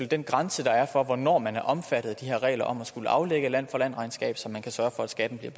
den grænse der er for hvornår man er omfattet af de her regler om at skulle aflægge land for land regnskab så man kan sørge for at skatten bliver